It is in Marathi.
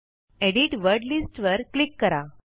एडिट वर्ड लिस्ट्स वर क्लिक करा